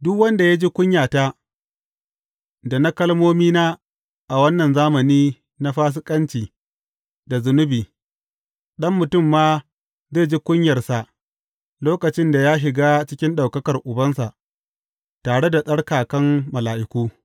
Duk wanda ya ji kunyata, da na kalmomina a wannan zamani na fasikanci da zunubi, Ɗan Mutum ma zai ji kunyarsa lokacin da ya shiga cikin ɗaukakar Ubansa, tare da tsarkakan mala’iku.